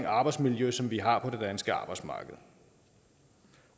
arbejdsmiljø som vi har på det danske arbejdsmarked